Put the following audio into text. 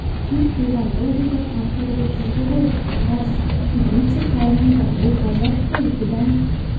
кит бұған ылғи да қамқор боп жүрді ғой рас кит өте қайырымды бұл ғажап қой бұдан